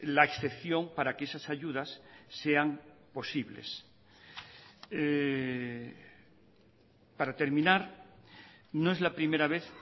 la excepción para que esas ayudas sean posibles para terminar no es la primera vez